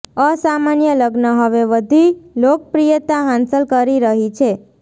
અસામાન્ય લગ્ન હવે વધી લોકપ્રિયતા હાંસલ કરી રહી છે